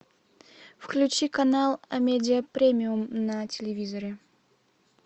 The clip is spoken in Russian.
включи канал амедиа премиум на телевизоре